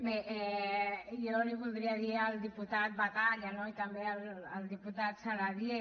bé jo li voldria dir al diputat batalla no i també al diputat saladié